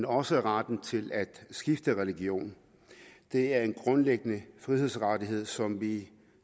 også retten til at skifte religion det er en grundlæggende frihedsrettighed som vi